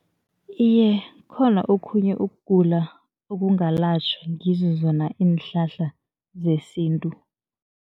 Iye, kukhona okhunye ukugula okungalatjhwa ngizo zona iinhlahla zesintu.